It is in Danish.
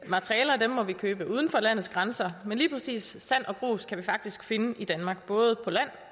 materialer må vi købe uden for landets grænser men lige præcis sand og grus kan vi faktisk finde i danmark både på land